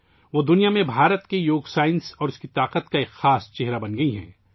وہ دنیا میں بھارت کی یوگ کی سائنس اور اس کی طاقت کا ایک نمایاں چہرہ بن گئی ہیں